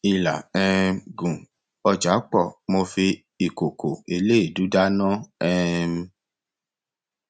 ilà um gùn ọjà pọ mo fi ìkòkò eléèdú dáná um